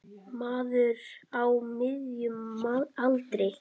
Maður á miðjum aldri.